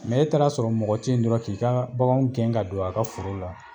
e taara a sɔrɔ mɔgɔ tɛ yen dɔrɔn k'i ka baganw gɛn ka don a ka foro la